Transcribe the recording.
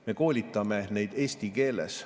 Me koolitame neid eesti keeles.